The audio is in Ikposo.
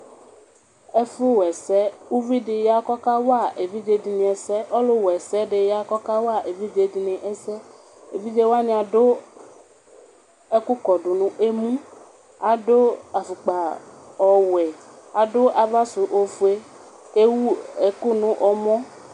Ɛfʋwa ɛsɛ ʋvidi ya kʋ ɔkawa evidzedini ɛsɛ Ɔlʋwa ɛsɛdiya kʋ ɔkawa evidze dini ɛsɛ, evidze wani adʋ ɛkʋkɔdʋnʋ emʋ, adʋ afupka ɔwɛ, adʋ avasʋ ofue, kʋ ewʋ ekʋ nʋ ɔmɔ